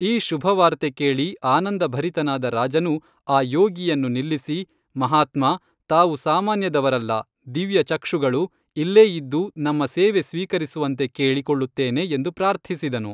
ಈ ಶುಭವಾರ್ತೆ ಕೇಳಿ ಆನಂದ ಭರಿತನಾದ ರಾಜನು ಆ ಯೋಗಿಯನ್ನು ನಿಲ್ಲಿಸಿ, ಮಾಹಾತ್ಮಾ, ತಾವು ಸಾಮಾನ್ಯದವರಲ್ಲ, ದಿವ್ಯಚಕ್ಷುಗಳು, ಇಲ್ಲೇ ಇದ್ದು ನಮ್ಮ ಸೇವೆ ಸ್ವೀಕರಿಸುವಂತೆ ಕೇಳಿ ಕೊಳ್ಳುತ್ತೇನೆ ಎಂದು ಪ್ರಾರ್ಥಿಸಿದನು